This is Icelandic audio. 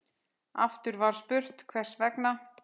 Aftur var spurt: Hvers vegna?